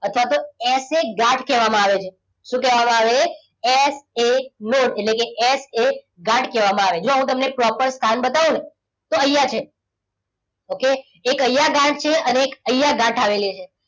અથવા તો as a ગાંઠ કહેવામાં આવે છે. શું કહેવામાં આવે? એસ એ નોટ એટલે એસ એ ગાંઠ કહેવામાં આવે છે. જો હું તમને proper સ્થાન બતાવો ને તો અહીંયા છે. okay એક અહીંયા ગાંઠ છે અને એક અહીંયા ગાંઠ આવેલી છે.